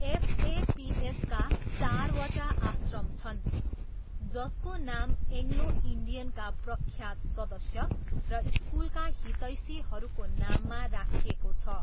एफएपिएसका चारवटा आश्रम छन्, जसको नाम एङ्ग्लो इन्डियनका प्रख्यात सदस्य र स्कुलका हितैषीहरूको नाममा राखिएको छ।